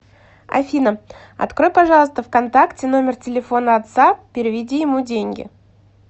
афина открой пожалуйста в контакте номер телефона отца переведи ему деньги